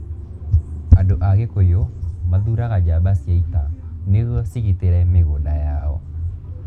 Andũ a Agikuyu mathuuraga njamba cia ita nĩguo cigitĩre mĩgũnda yao